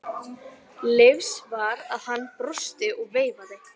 Leifs var að hann brosti og veifaði.